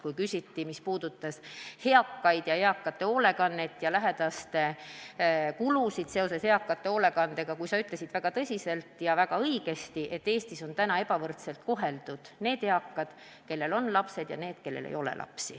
Kui esitati küsimus, mis puudutas eakaid, nende hoolekannet ja lähedaste kulusid seoses sellega, siis sa ütlesid väga tõsiselt ja väga õigesti, et Eestis on ebavõrdselt koheldud need eakad, kellel on lapsed, ja need, kellel ei ole lapsi.